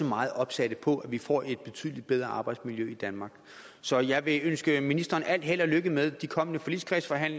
meget opsatte på at vi får et betydelig bedre arbejdsmiljø i danmark så jeg vil ønske ministeren al held og lykke med de kommende forligskredsforhandlinger